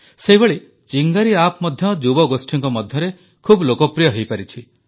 ସେହିଭଳି ଚିଙ୍ଗାରୀ ଆପ୍ ମଧ୍ୟ ଯୁବଗୋଷ୍ଠୀଙ୍କ ମଧ୍ୟରେ ବହୁତ ଲୋକପ୍ରିୟ ହୋଇପାରିଛି